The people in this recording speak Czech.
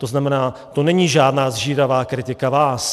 To znamená, to není žádná sžíravá kritika vás.